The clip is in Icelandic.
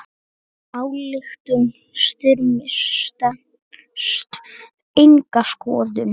Ályktun Styrmis stenst enga skoðun.